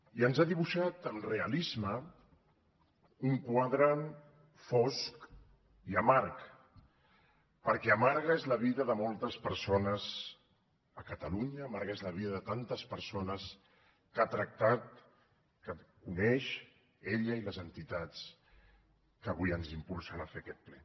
i ens ha dibuixat amb realisme un quadre fosc i amarg perquè amarga és la vida de moltes persones a catalunya amarga és la vida de tantes persones que ha tractat que coneix ella i les entitats que avui ens impulsen a fer aquest ple